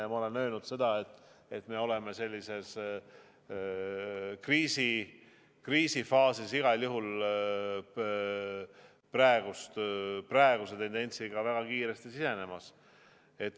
Ja ma olen öelnud, et me oleme igal juhul praeguse tendentsiga sellisesse kriisifaasi väga kiiresti sisenemas.